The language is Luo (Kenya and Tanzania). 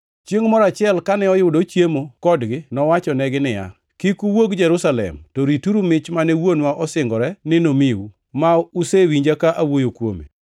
Chiengʼ moro achiel kane oyudo ochiemo kodgi, nowachonegi niya, “Kik uwuog Jerusalem, to rituru mich mane Wuonwa osingore ni nomiu, ma usewinja ka awuoyo kuome;